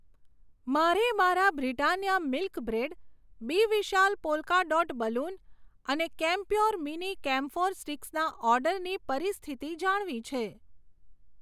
મારે મારા Britannia milk bread, B Vishal polka dot balloon અને કેમપ્યોર મીની ક્મ્ફોર સ્ટીક્સના ઓર્ડરની પરિસ્થિતિ જાણવી છે.